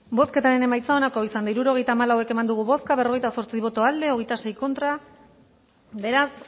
bozketaren emaitza onako izan da hirurogeita hamalau eman dugu bozka berrogeita zortzi boto aldekoa veintiséis contra beraz